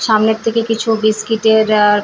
সামনের থেকে কিছু বিস্কিটের আর --